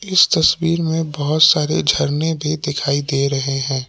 इस तस्वीर मे बहुत सारे झरने भी दिखाई दे रहे हैं।